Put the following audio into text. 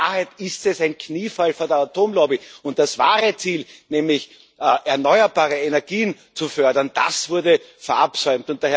In Wahrheit ist es ein Kniefall vor der Atomlobby. Und das wahre Ziel, nämlich erneuerbare Energien zu fördern, das wurde verabsäumt.